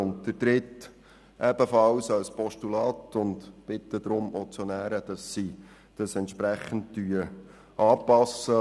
Ziffer 3 unterstützen wir ebenfalls als Postulat, und wir bitten die Motionäre, dies entsprechend anzupassen.